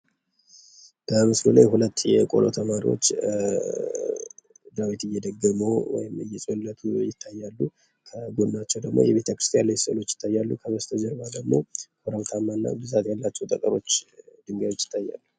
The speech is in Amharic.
በምስሉ በምስሉ ላይ ሁለት የቆሎ ተማሪዎች ዳዊት እደገሙ ወይም አየጸለዩ ይታያሉ። ከጎናቸው ላይ ደግሞ የቤተክርስቲያን ላይ ስዕሎች ይታያሉ። ከበስተጀርባ ደግሞ ኮረብታማ እና ብዛት ያላቸው ጠጠሮች ድንጋዮች ይታያሉ።